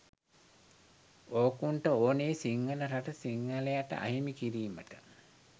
ඕකුන්ට ඕනේ “සිංහල රට සිංහලයට අහිමි කිරීමට”.